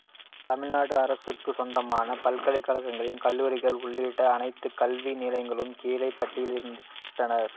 தமிழ்நாடு அரசுக்கு சொந்தமான பல்கலைக்கழகங்கள் கல்லூரிகள் உள்ளிட்ட அனைத்து கல்வி நிலையங்களும் கீழே பட்டியலிடப்பட்டுள்ளன